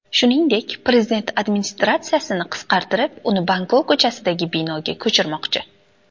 Shuningdek, prezident administratsiyasini qisqartirib, uni Bankov ko‘chasidagi binoga ko‘chirmoqchi.